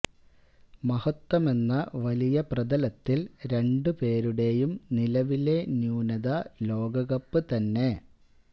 മഹത്വമെന്ന വലിയ പ്രതലത്തില് രണ്ട് പേരുടെയും നിലവിലെ ന്യൂനത ലോകകപ്പ് തന്നെ